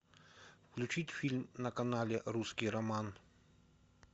включить фильм на канале русский роман